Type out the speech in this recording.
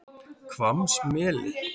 Hvammsmeli